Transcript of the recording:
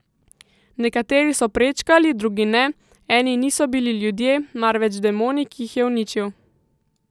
Nekateri so prečkali, drugi ne, eni niso bili ljudje, marveč demoni, ki jih je uničil.